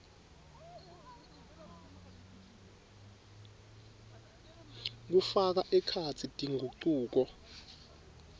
kufaka ekhatsi tingucuko